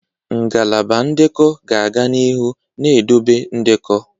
Ngalaba ndekọ ga-aga n'ihu na-edobe ndekọ.